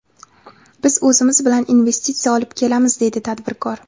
Biz o‘zimiz bilan investitsiya olib kelamiz”, deydi tadbirkor.